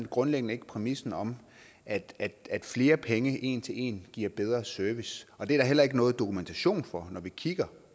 grundlæggende ikke præmissen om at at flere penge en til en giver bedre service og det er der heller ikke noget dokumentation for når vi kigger